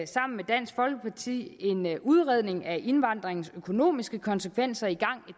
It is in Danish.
sammen med dansk folkeparti en udredning af indvandringens økonomiske konsekvenser i